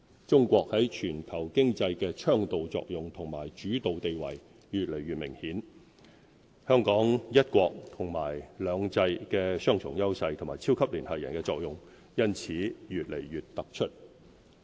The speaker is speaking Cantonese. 中國在全球經濟的倡導作用和主導地位越來越明顯，香港"一國"和"兩制"的雙重優勢和"超級聯繫人"的作用因此越來越突出。